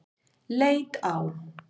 Leit á